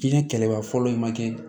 Diinɛ kɛlɛba fɔlɔ ye ma kɛ